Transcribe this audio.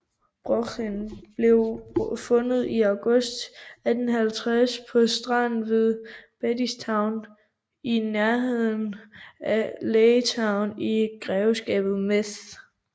Brochen blev fundet i august 1850 på stranden ved Bettystown i nærheden af Laytown i grevskabet Meath